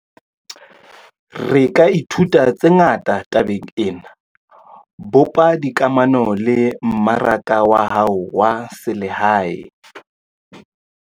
Re ka ithuta tse ngata tabeng ena - bopa dikamano le mmaraka wa hao wa selehae.